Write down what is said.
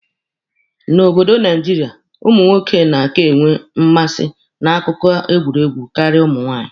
N'obodo Naijiria, ụmụ nwoke na-aka enwe mmasị na akụkọ egwuregwu karịa ụmụ nwaanyị.